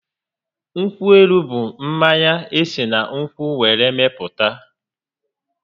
Nkwụ élú bụ mmanya esi na nkwụ were mepụta